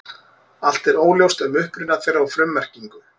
Allt er óljóst um uppruna þeirra og frummerkingu.